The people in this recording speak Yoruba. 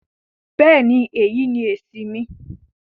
Bẹ́ẹ̀ni, èyí ni èṣì mi